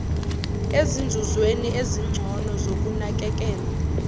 ezinzuzweni ezingcono zokunakekelwa